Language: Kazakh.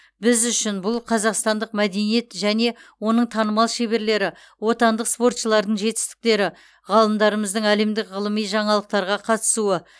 біз үшін бұл қазақстандық мәдениет және оның танымал шеберлері отандық спортшылардың жетістіктері ғалымдарымыздың әлемдік ғылыми жаңалықтарға қатысуы